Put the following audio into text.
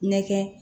Nɛkɛ